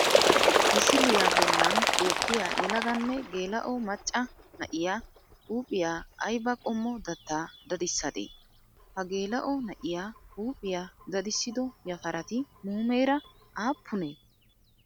Misiliyaa bollan beettiya yelaganne geela'o macca na'iyaa huuphiyaa ayiba qommo dattaa dadissade? Ha geela'o na'iyaa huuphiyaa dadissido yafarati muumeera aappunee?